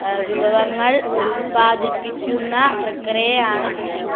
ഹ.. വിവരങ്ങൾ ഉൽപാദിപ്പിക്കുന്ന പ്രക്രിയ ആണ് കൃഷി